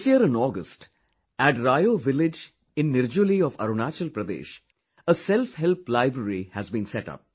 This year in August, at Rayo village in Nirjuli of Arunachal Pradesh, a Self Help Library has been set up